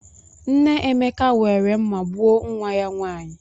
Nne Emeka were mma gbuo nwa ya nwanyị.